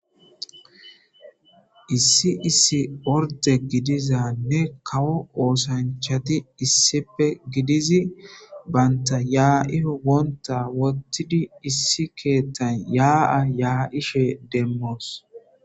Issi issi orde gidizaranne kawo osanchati issippe gidizi banta ya,iyo wontha wotidi issi kethan ya,a ya,ishe demos